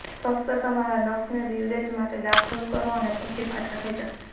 ફક્ત તમારા નખને લીવરેજ માટે દાખલ કરો અને પછી પાછા ખેંચો